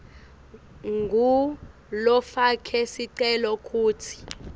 ngulofake sicelo kutsi